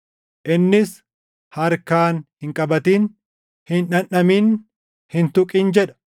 Innis, “Harkaan hin qabatin! Hin dhandhamin! Hin tuqin!” jedha.